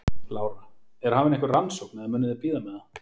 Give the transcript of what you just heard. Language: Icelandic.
Lára: Er hafin einhver rannsókn eða munuð þið bíða með það?